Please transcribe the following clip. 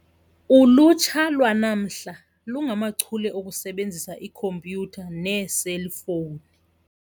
Ulutsha lwanamhla lungachule okusebenzisa ikhompyutha neeselfowuni.